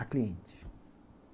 A cliente.